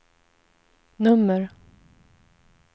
nummer